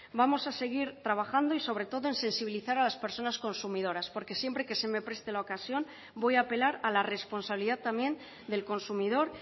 vamos a seguir trabajando y sobre todo en sensibilizar a las personas consumidoras porque siempre que se me preste la ocasión voy a apelar a la responsabilidad también del consumidor